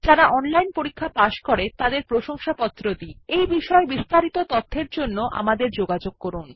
যারা অনলাইন পরীক্ষা পাস করে তাদের প্রশংসাপত্র দি এই বিষয় বিস্তারিত তথ্যের জন্য আমাদের যোগাযোগ করুন